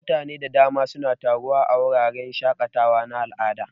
Mutane da dama suna taruwa a wuraren shaƙatawa na al'ada.